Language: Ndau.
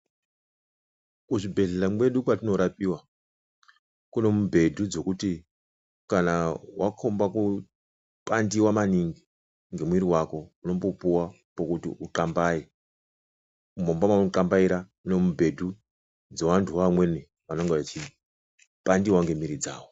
Muzvibhehlera mwedu mwatinorapiwa ,mune mibhedhu dzekuti kana wakomba kupandiwa maningi ngemuiri wako unombopuwa pekuti uxambaye, mumba maunoxambaira mune mibhedu dzevanthuwo vamweni vanenge veipandiwawo ngemuiri dzavo.